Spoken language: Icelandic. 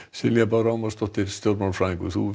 Silja Bára Ómarsdóttir stjórnmálafræðingur þú